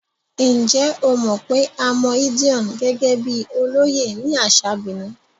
Ǹjẹ́ o mọ̀ pé a mọ Edion gẹ́gẹ́ bíi olóyè ní àṣà Benin?